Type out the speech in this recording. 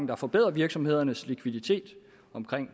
der forbedrer virksomhedernes likviditet